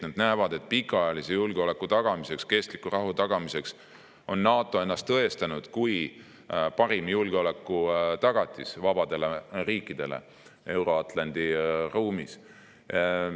Nad näevad, et pikaajalise julgeoleku ja kestliku rahu tagamiseks on NATO ennast tõestanud kui parim julgeolekutagatis vabadele riikidele Euro-Atlandi ruumis.